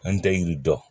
An tɛ yiri dɔn